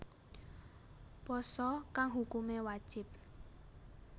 Pasa kang hukumé wajib